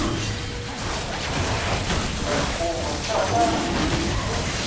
xigilamikhuva xa hungata